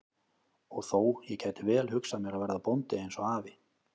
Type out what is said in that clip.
Og þó, ég gæti vel hugsað mér að verða bóndi eins og afi.